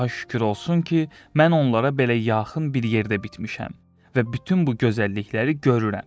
Allaha şükür olsun ki, mən onlara belə yaxın bir yerdə bitmişəm və bütün bu gözəllikləri görürəm.